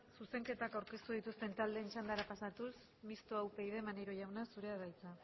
zuzenketak aurkeztu dituzten taldeen txandara pasatuz mistoa upyd maneiro jauna zurea da hitza